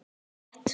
sé rétt.